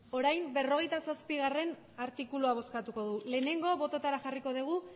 orain berrogeita zazpigarrena artikulua bozkatuko dugu lehenengo botoetara jarriko dugu